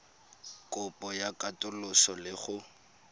kopo ya katoloso le go